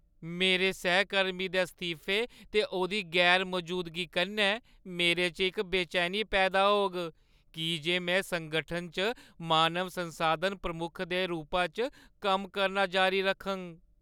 मेरे सैहकर्मी दे इस्तीफे ते ओह्‌दी गैर-मजूदगी कन्नै मेरे च इक बेचैनी पैदा होग की जे में संगठन च मानव संसाधन प्रमुख दे रूपा च कम्म करना जारी रखङ।